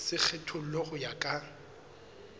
se kgethollwe ho ya ka